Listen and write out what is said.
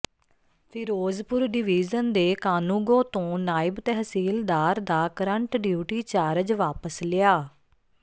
Firozpur division ਦੇ ਕਾਨੂੰਗੋ ਤੋਂ ਨਾਇਬ ਤਹਿਸੀਲਦਾਰ ਦਾ ਕਰੰਟ ਡਿਊਟੀ ਚਾਰਜ ਵਾਪਸ ਲਿਆ